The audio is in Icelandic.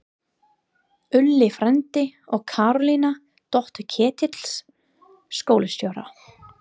Úlli frændi og Karólína, dóttir Ketils skólastjóra!